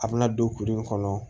A bɛna don kurun in kɔnɔ